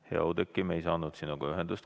Hea Oudekki, me ei saanud sinuga ühendust.